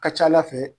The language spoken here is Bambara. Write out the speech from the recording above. Ka ca ala fɛ